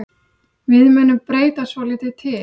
Við munum breyta svolítið til.